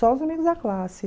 Só os amigos da classe.